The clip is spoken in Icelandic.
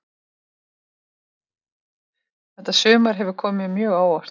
Þetta sumar hefur komið mér mjög á óvart.